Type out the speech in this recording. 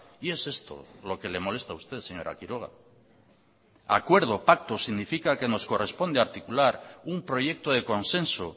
y es esto lo que le molesta a usted señora quiroga acuerdo pacto significa que nos corresponde articular un proyecto de consenso